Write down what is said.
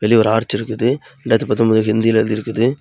வெளில ஒரு ஆர்ச் இருக்குது. ரெண்டாயிறத்தி பத்தொம்போது ஹிந்தில எழுதி இருக்குது.